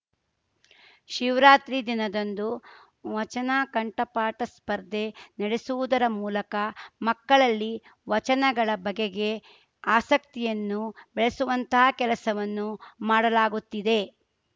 ಶಿವರಾತ್ರಿ ದಿನದಂದು ವಚನಕಂಠಪಾಠ ಸ್ಪರ್ಧೆ ನಡೆಸುವುದರ ಮೂಲಕ ಮಕ್ಕಳಲ್ಲಿ ವಚನಗಳ ಬಗೆಗೆ ಆಸಕ್ತಿಯನ್ನು ಬೆಳೆಸುವಂತಹ ಕೆಲಸವನ್ನು ಮಾಡಲಾಗುತ್ತಿದೆ